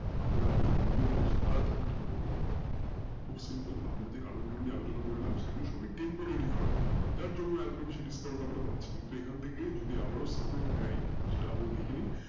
আমরা যারা বিনিয়ে করছি তারা তখন কি করবো খুব simple আমরা যেই কারণ গুলো নিয়ে আলোচনা করলাম সেই গুলো সবাই temporary কারণ যার জন্য আমরা এত টা বেশি discount আমরা পাচ্ছি কিন্তু এখন থেকে আবারো যদি support নাই তাহলে দেখে নিন